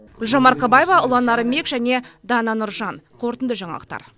гүлжан марқабаева ұлан нарынбек және дана нұржан қорытынды жаңалықтар